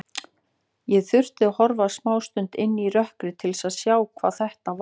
Ég þurfti að horfa smástund inn í rökkrið til að sjá hvað þetta var.